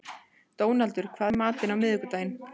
Dónaldur, hvað er í matinn á miðvikudaginn?